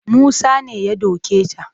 Musa ne ya doke ta